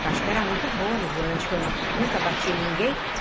Acho que eu era muito boa no volante, porque eu nunca bati em ninguém.